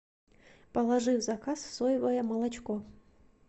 положи в заказ соевое молочко